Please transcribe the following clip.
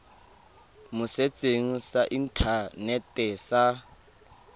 mo setsheng sa inthanete sa